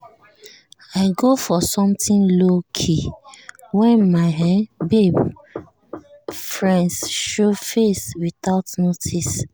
i go for something low-key when my um babe um friends show face without notice.